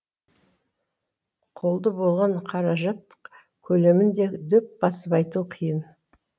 қолды болған қаражат көлемін де дөп басып айту қиын